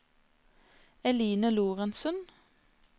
Eline Lorentsen